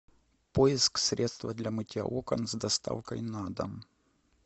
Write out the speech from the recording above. поиск средства для мытья окон с доставкой на дом